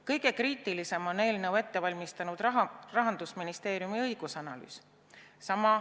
Kõige kriitilisem on eelnõu ette valmistanud Rahandusministeeriumi õigusanalüüs.